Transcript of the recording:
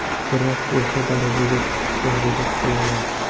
Biroq o‘sha darajaga chiqishga harakat qilaman.